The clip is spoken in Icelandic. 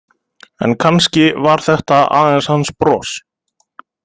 En kannski var þetta aðeins hans bros?